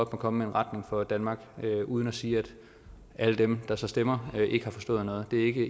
komme med en retning for danmark uden at sige at alle dem der så stemmer ikke har forstået noget det er ikke